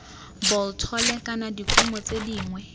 bolthole kana dikumo tse dingwe